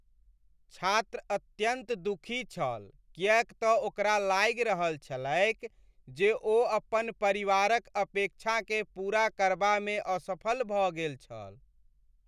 छात्र अत्यन्त दुखी छल किएक तँ ओकरा लागि रहल छलैक जे ओ अपन परिवारक अपेक्षाकेँ पूरा करबामे असफल भऽ गेल छल।